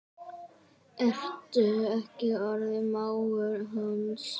Ertu ekki orðinn mágur hans?